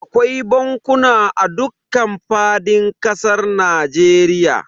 Akwai bankuna a dukkan fadin kasar Najeriya.